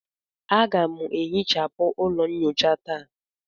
Aga m ehichapụ ụlọ nyocha taa.